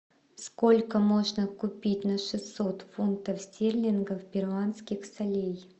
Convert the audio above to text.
сколько можно купить на шестьсот фунтов стерлингов перуанских солей